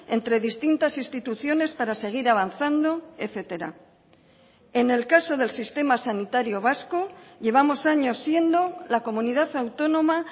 entre distintas instituciones para seguir avanzando etcétera en el caso del sistema sanitario vasco llevamos años siendo la comunidad autónoma